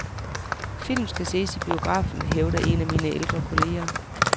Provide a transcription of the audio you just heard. Film skal ses i biografen, hævder en af mine ældre kolleger.